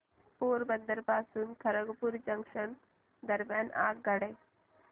पोरबंदर पासून खरगपूर जंक्शन दरम्यान आगगाडी